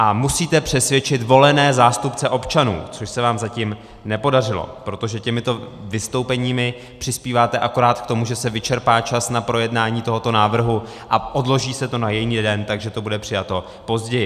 A musíte přesvědčit volené zástupce občanů, což se vám zatím nepodařilo, protože těmito vystoupeními přispíváte akorát k tomu, že se vyčerpá čas na projednání tohoto návrhu a odloží se to na jiný den, takže to bude přijato později.